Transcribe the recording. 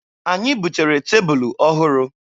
Anyị butere tebụlụ ọhụrụ.